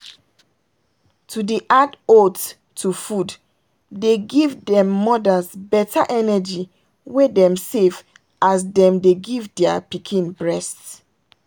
to dey add oats to food dey give them mother's better energy wey dem safe as them dey give their pikin breast.